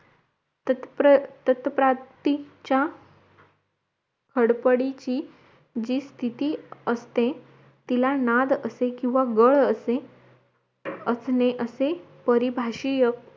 तत् तत्प्राप्तीच्या हडपडीची जी स्तिथी असते तिला नाद असे किव्हा गळ असे असणे असे परभाषीय